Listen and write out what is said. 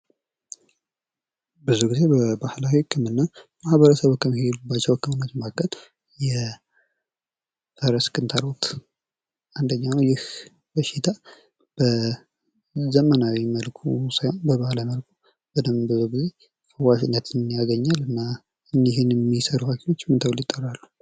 ብዙ ግዜ በባህላዊ ህክምና ማህበረሰቡ ከሚሔድባቸው ህክምናዎች መካከል የእራስ ክንታሮት አንደኛው ነው። የህ በሽታ በዘመናዊ መልኩ ሳይሆን በባህላዊ መልኩ በጣም ብዙ ግዜ ዋሽንግተንን ያገኘ እና እኒህንም የሚሰሩ ምን ተብለው ይጠራሉ?